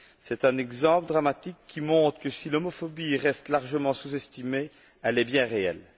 C'est un exemple dramatique qui montre que, si l'homophobie reste largement sous estimée, elle est bien réelle.